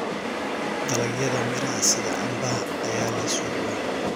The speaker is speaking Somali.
Dalagyada miraha sida cambaha ayaa leh suuq weyn.